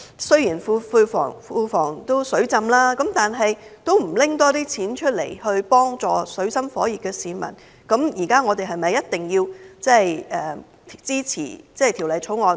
雖然現在政府庫房儲備充裕，但政府卻不多撥款項幫助水深火熱的市民，我們是否一定要支持《條例草案》？